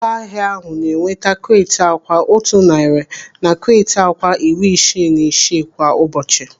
Ụlọahịa ahụ na-enweta kreeti akwa otu narị na kreeti akwa iri isii na isii kwa ụbọchị.